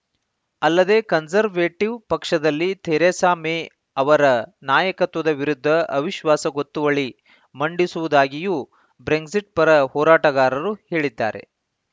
ಅಲ್ಲದೇ ಕನ್ಸರ್ವೇಟಿವ್‌ ಪಕ್ಷದಲ್ಲಿ Theresa May ಅವರ ನಾಯಕತ್ವದ ವಿರುದ್ಧ ಅವಿಶ್ವಾಸ ಗೊತ್ತುವಳಿ ಮಂಡಿಸುವುದಾಗಿಯೂಯೂ ಬ್ರೆಕ್ಸಿಟ್‌ ಪರ ಹೋರಾಟಗಾರರು ಹೇಳಿದ್ದಾರೆ